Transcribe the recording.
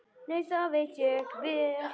Nei, það veit ég vel.